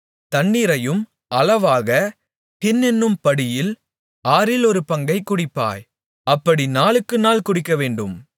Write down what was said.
தண்ணீரையும் அளவாக ஹின் என்னும் படியில் ஆறில் ஒரு பங்கைக் குடிப்பாய் அப்படி நாளுக்குநாள் குடிக்கவேண்டும்